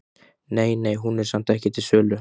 Nei, nei, en hún er samt ekki til sölu.